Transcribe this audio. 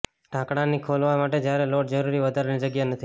ઢાંકણાંની ખોલવા માટે જ્યારે લોડ જરૂરી વધારાની જગ્યા નથી